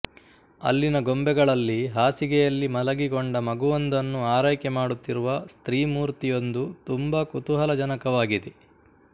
ಅಲ್ಲಿನ ಗೊಂಬೆಗಳಲ್ಲಿ ಹಾಸಿಗೆಯಲ್ಲಿ ಮಲಗಿಕೊಂಡ ಮಗುವೊಂದನ್ನು ಆರೈಕೆ ಮಾಡುತ್ತಿರುವ ಸ್ತ್ರೀಮೂರ್ತಿಯೊಂದು ತುಂಬ ಕುತೂಹಲಜನಕವಾಗಿದೆ